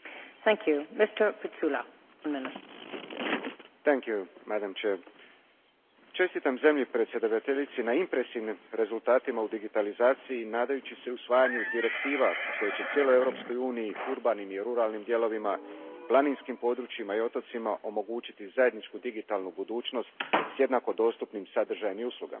Gospođo predsjednice, čestitam zemlji predsjedavateljici na impresivnim rezultatima u digitalizaciji nadajući se usvajanju direktiva koje će cijeloj Europskoj uniji, urbanim i ruralnim dijelovima, planinskim područjima i otocima omogućiti zajedničku digitalnu budućnost s jednako dostupnim sadržajem i uslugama.